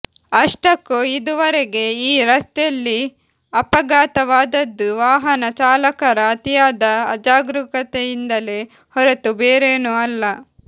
ಅಷ್ಟಕ್ಕೂ ಇದುವರೆಗೆ ಈ ರಸ್ತೆಯಲ್ಲಿ ಅಪಘಾತವಾದದ್ದು ವಾಹನ ಚಾಲಕರ ಅತೀಯಾದ ಅಜಾಗರೂಕತೆಯಿಂದಲೇ ಹೊರತು ಬೇರೇನೂ ಅಲ್ಲ